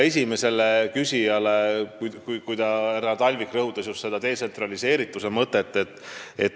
Esimene küsija härra Talvik rõhutas detsentraliseerituse põhimõtet.